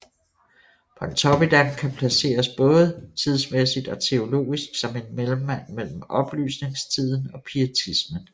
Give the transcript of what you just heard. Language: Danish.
Pontoppidan kan placeres både tidsmæssigt og teologisk som en mellemmand mellem oplysningstiden og pietismen